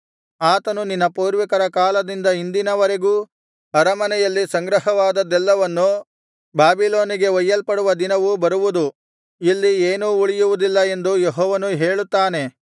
ಆತನು ನಿನ್ನ ಪೂರ್ವಿಕರ ಕಾಲದಿಂದ ಇಂದಿನವರೆಗೂ ಅರಮನೆಯಲ್ಲಿ ಸಂಗ್ರಹವಾದದ್ದೆಲ್ಲವನ್ನು ಬಾಬಿಲೋನಿಗೆ ಒಯ್ಯಲ್ಪಡುವ ದಿನವು ಬರುವುದು ಇಲ್ಲಿ ಏನೂ ಉಳಿಯುವುದಿಲ್ಲ ಎಂದು ಯೆಹೋವನು ಹೇಳುತ್ತಾನೆ